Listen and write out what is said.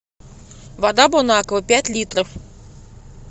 вода бонаква пять литров